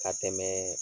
Ka tɛmɛ